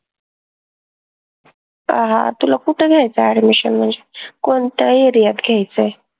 अं तुला कुट घ्यायचंय admission म्हनजे कोनत्या area त घ्यायचंय?